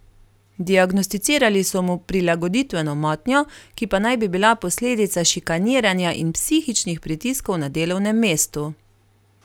Diagnosticirali so mu prilagoditveno motnjo, ki pa naj bi bila posledica šikaniranja in psihičnih pritiskov na delovnem mestu.